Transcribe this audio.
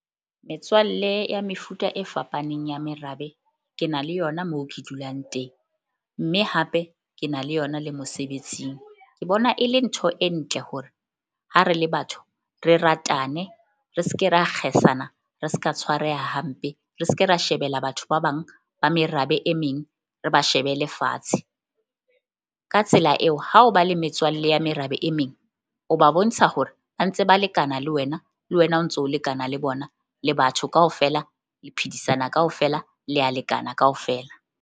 Metswalle ya mefuta e fapaneng ya merabe. Ke na le yona moo ke dulang teng mme hape ke na le yona le mosebetsing. Ke bona e le ntho e ntle hore ha re le batho re ratane, re ske ra kgesana, re ska tshwareha hampe, re ske ra shebela batho ba bang ba merabe e meng, re ba shebele fatshe. Ka tsela eo ha o ba le metswalle ya merabe e meng, o ba bontsha hore ba ntse ba lekana le wena, le wena o ntso lekana le bona. Le batho kaofela le phedisana kaofela, le ya lekana kaofela.